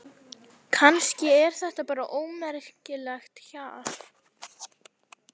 Kannski er þetta bara ómerkilegt hjal.